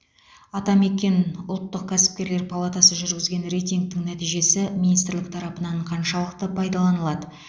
атамекен ұлттық кәсіпкерлер палатасы жүргізген рейтингтің нәтижесі министрлік тарапынан қаншалықты пайдаланылады